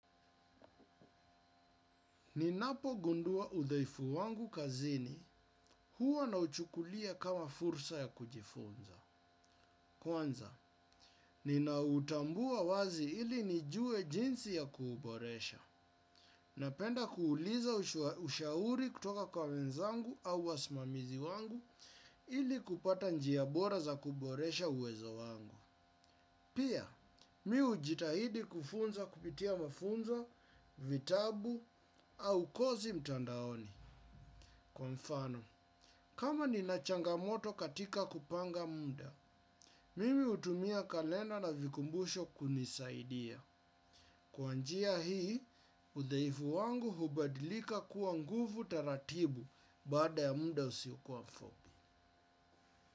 Ninapo gundua udhaifu wangu kazini, huwa na uchukulia kama fursa ya kujifunza. Kwanza, ninautambua wazi ili nijue jinsi ya kuuboresha. Napenda kuuliza ushauri kutoka kwa wenzangu au wasimamizi wangu ili kupata njia bora za kuboresha uwezo wangu. Pia, mi hujitahidi kufunza kupitia mafunzo, vitabu, au kosi mtandaoni. Kwa mfano, kama ni na changamoto katika kupanga muda, mimi hutumia kalenda na vikumbusho kunisaidia. Kwa njia hii, udhaifu wangu hubadilika kuwa nguvu taratibu baada ya muda usiokuwa mfupi.